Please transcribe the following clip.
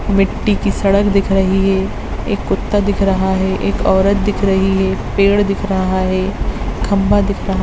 मिट्टी कि सड़क दिख रही है एक कुत्ता दिख रहा है एक औरत दिख रही है पड़े दिख रहा है खम्बा दिख रहा --